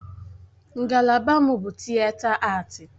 Ngalaba m bụ Tịeta Aati.